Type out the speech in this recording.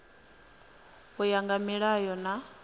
u ya nga milayo na